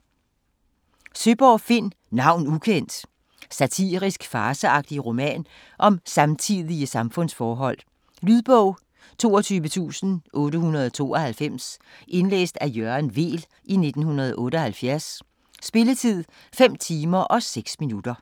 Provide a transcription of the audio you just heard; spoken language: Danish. Søeborg, Finn: Navn ukendt! Satirisk, farceagtig roman om samtidige samfundsforhold. Lydbog 22892 Indlæst af Jørgen Weel, 1978. Spilletid: 5 timer, 6 minutter.